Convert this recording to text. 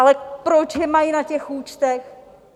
Ale proč je mají na těch účtech?